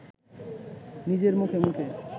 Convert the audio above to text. নিজের মুখে মুখে